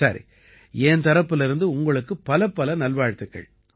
சரி என் தரப்பிலிருந்து உங்களுக்குப் பலப்பல நல்வாழ்த்துக்கள்